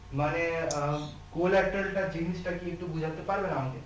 মানে আহ collateral টা জিনিসটা কি একটু বুঝাতে পারবেন আমাকে